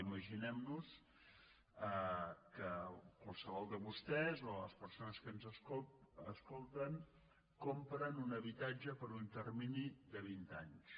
imaginem nos que qualsevol de vostès o de les persones que ens escolten compren un habitatge per un termini de vint anys